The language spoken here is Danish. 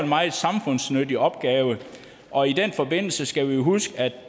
meget samfundsnyttig opgave og i den forbindelse skal vi huske at